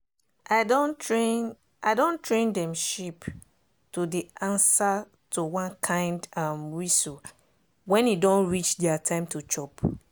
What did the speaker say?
i don train i don train dem sheep to dey answer to one kind um whistle when e don reach dia time to chop.